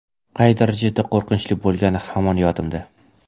Qay darajada qo‘rqinchli bo‘lgani hamon yodimda.